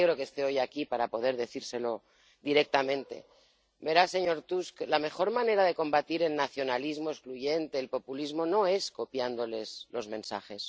Me alegro de que esté hoy aquí para poder decírselo directamente verá, señor Tusk, la mejor manera de combatir el nacionalismo excluyente, el populismo, no es copiándoles los mensajes.